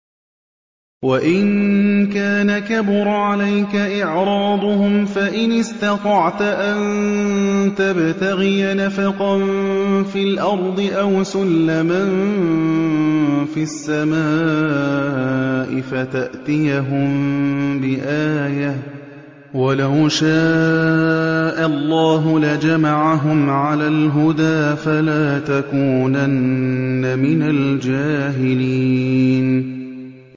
وَإِن كَانَ كَبُرَ عَلَيْكَ إِعْرَاضُهُمْ فَإِنِ اسْتَطَعْتَ أَن تَبْتَغِيَ نَفَقًا فِي الْأَرْضِ أَوْ سُلَّمًا فِي السَّمَاءِ فَتَأْتِيَهُم بِآيَةٍ ۚ وَلَوْ شَاءَ اللَّهُ لَجَمَعَهُمْ عَلَى الْهُدَىٰ ۚ فَلَا تَكُونَنَّ مِنَ الْجَاهِلِينَ